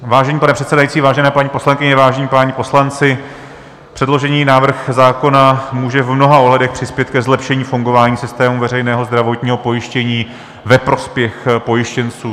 Vážený pane předsedající, vážené paní poslankyně, vážení páni poslanci, předložený návrh zákona může v mnoha ohledech přispět ke zlepšení fungování systému veřejného zdravotního pojištění ve prospěch pojištěnců.